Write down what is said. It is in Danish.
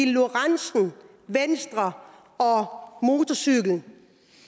lorentzen venstre og motorcykel